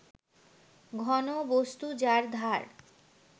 ঘনবস্তু যার ধার